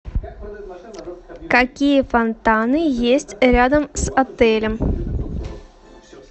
какие фонтаны есть рядом с отелем